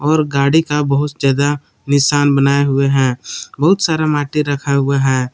और गाड़ी का बहुत ज्यादा निशान बनाए हुए हैं बहुत सारा माटी रखा हुआ है।